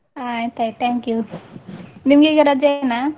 ಹ ಆಯ್ತಾಯ್ತು thank you , ನಿಮ್ಗೀಗ ರಜೆಯೇನ.